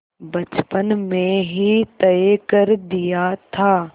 बचपन में ही तय कर दिया था